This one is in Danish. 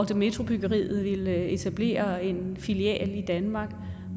metrobyggeriet ville etablere en filial i danmark